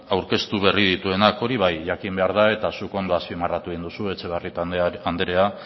aurkeztu berri dituenak hori bai jakin behar da eta zuk ondo azpimarratu egin duzu etxebarrieta andrea